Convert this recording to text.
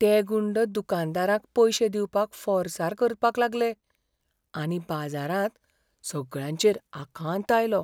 ते गुंड दुकानदारांक पयशे दिवपाक फोर्सार करपाक लागले आनी बाजारांत सगळ्यांचेर आकांत आयलो.